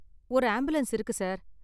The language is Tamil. ஒரு ஆம்புலன்ஸ் இருக்கு, சார்.